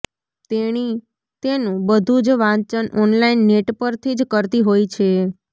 તેણી તેનુ બધુ જ વાંચન ઓનલાઈન નેટ પરથી જ કરતી હોય છે